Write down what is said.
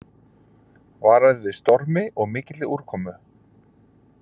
Varað við stormi og mikilli úrkomu